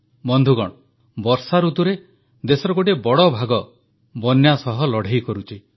ବନ୍ଧୁଗଣ ବର୍ଷାଋତୁରେ ଦେଶର ଗୋଟିଏ ବଡ଼ ଭାଗ ବନ୍ୟା ସହ ଲଢ଼େଇ କରୁଛି